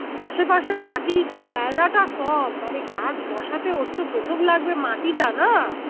আশেপাশে মাটির জায়গাটা কম মানে গাছ বসাতে ওর তো প্রথম লাগবে মাটি টা না?